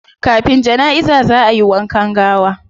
Kafin janaiza zaa ayi wankan gawa